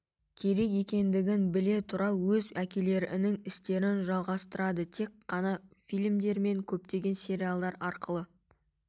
керек екендігін біле тұра өз әкелерінің істерін жалғастырады тек ғана фильмдер мен көптеген сериалдар арқылы